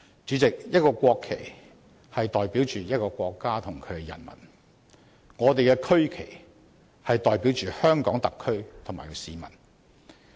主席，國旗代表着其國家和人民，我們的區旗代表着香港特區和市民。